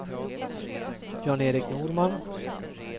Jan-Erik Norman